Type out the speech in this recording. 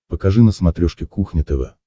покажи на смотрешке кухня тв